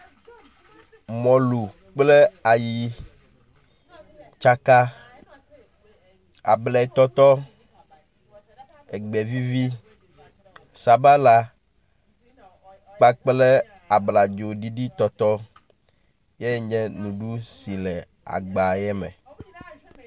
Mɔlu kple ayi tsaka, abletɔtɔ, egbevivi, sabala kpakple abladzoɖiɖi tɔtɔ yae nye nuɖuɖu yi le agba ye me.